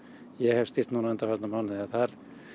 ég hef stýrt núna undanfarna mánuði þar